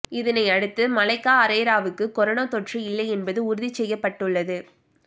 இதனை அடுத்து மலைக்கா அரோராவுக்கு கொரோனா தொற்று இல்லை என்பது உறுதி செய்யப்பட்டுள்ளது